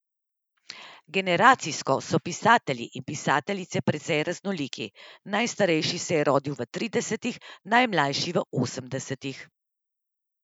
Generacijsko so pisatelji in pisateljice precej raznoliki, najstarejši se je rodil v tridesetih, najmlajši v osemdesetih.